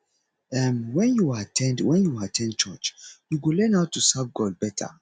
um wen yu at ten d wen yu at ten d church yu go learn how to serve god beta